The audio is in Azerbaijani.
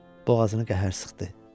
Boğazını qəhər sıxdı.